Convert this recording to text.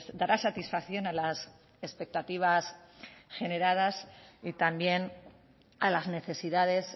dará satisfacción a las expectativas generadas y también a las necesidades